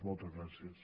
moltes gràcies